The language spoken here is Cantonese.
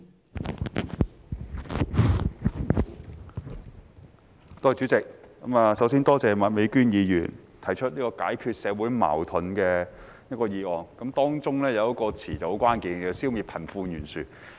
代理主席，首先多謝麥美娟議員提出"解決社會矛盾"的議案，當中有一個詞語很關鍵，是"消滅貧富懸殊"。